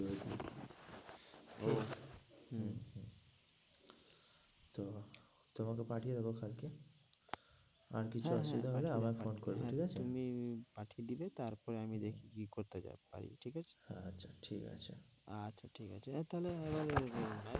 তো তোমাকে পাঠিয়ে দেবো কালকে আর কিছু অসুবিধা হলে আবার phone করবে ঠিক আছে? তুমি উম পাঠিয়ে দিবে তারপরে আমি দেখি কি করতে পারি, ঠিক আছে? হ্যাঁ, ঠিক আছে? আচ্ছা ঠিক আছে, এবার তাহলে এবার